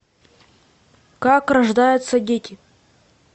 как рождаются дети